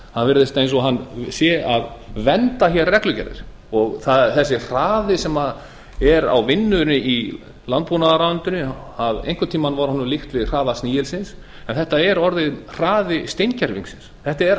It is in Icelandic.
það virðist eins og hann sé að vernda reglugerðir og þessi hraði sem er á vinnunni í landbúnaðarráðuneytinu að einhvern tíma var honum líkt við hraða snigilsins en þetta er orðinn hraði steingervingsins þetta er